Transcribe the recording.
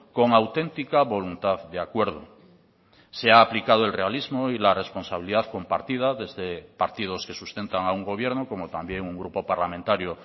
con auténtica voluntad de acuerdo se ha aplicado el realismo y la responsabilidad compartida desde partidos que sustentan a un gobierno como también un grupo parlamentario